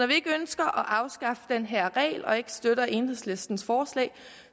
vi ikke ønsker at afskaffe den her regel og ikke støtter enhedslistens forslag